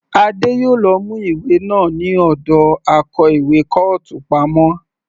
Adé yòó lọ mú ìwé náà ní ọ̀dọ akó ìwé kọ́ọ̀tù pamọ́.